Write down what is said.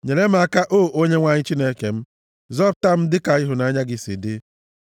Nyere m aka, o Onyenwe anyị Chineke m; zọpụta m dịka ịhụnanya gị si dị.